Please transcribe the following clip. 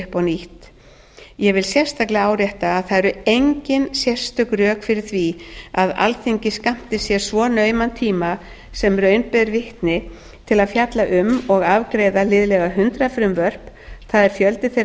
nýtt ég vil sérstaklega árétta að það eru engin sérstök rök fyrir því að alþingi skammti sér svo nauman tíma sem raun ber vitni til að fjalla um og afgreiða liðlega hundrað frumvörp það er fjöldi þeirra